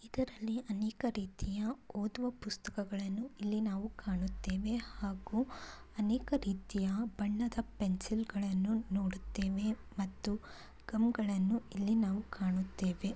ಇದರಲ್ಲಿ ಅನೇಕ ರೀತಿಯ ಓದುವ ಪುಸ್ತಕಗಳನ್ನು ಇಲ್ಲಿ ನಾವು ಕಾಣುತ್ತೇವೆ ಹಾಗು ಅನೇಕ ರೀತಿಯ ಬಣ್ಣದ ಪೆನ್ಸಿಲ್ಗಳನ್ನು ನೋಡುತ್ತೇವೆ ಮತ್ತು ಗಮ್ಗಳನ್ನು ಇಲ್ಲಿ ಕಾಣುತ್ತೇವೆ.